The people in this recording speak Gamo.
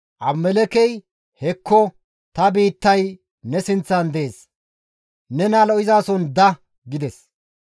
Abimelekkey, «Hekko ta biittay ne sinththan dees; nena lo7izason da» gides.